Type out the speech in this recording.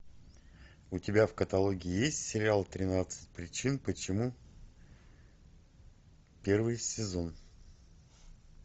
у тебя в каталоге есть сериал тринадцать причин почему первый сезон